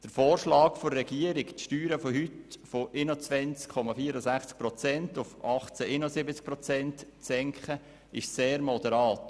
Der Vorschlag der Regierung, den Steuersatz von heute 21,4 Prozent auf 18,71 Prozent zu senken, ist sehr moderat.